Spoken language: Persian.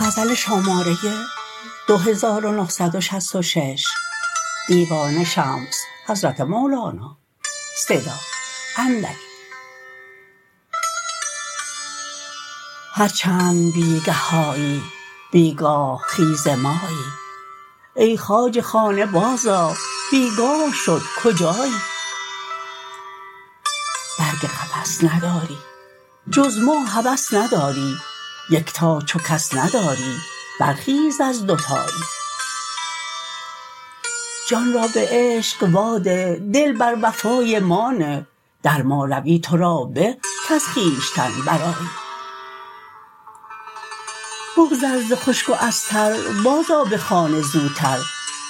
هر چند بی گه آیی بی گاه خیز مایی ای خواجه خانه بازآ بی گاه شد کجایی برگ قفس نداری جز ما هوس نداری یکتا چو کس نداری برخیز از دوتایی جان را به عشق واده دل بر وفای ما نه در ما روی تو را به کز خویشتن برآیی بگذر ز خشک و از تر بازآ به خانه زوتر